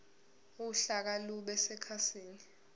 uhlaka lube sekhasini